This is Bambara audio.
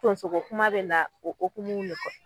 Tonso ko kuma bɛ na o kokumuw de kɔ